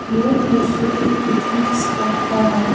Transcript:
यह दृश्य एक पिकनिक स्पॉट का है।